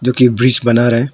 जो कि ब्रिज बना रहा है।